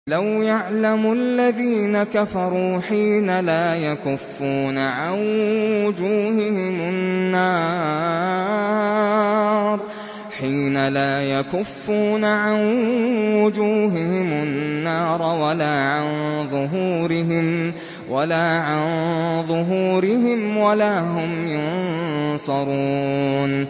لَوْ يَعْلَمُ الَّذِينَ كَفَرُوا حِينَ لَا يَكُفُّونَ عَن وُجُوهِهِمُ النَّارَ وَلَا عَن ظُهُورِهِمْ وَلَا هُمْ يُنصَرُونَ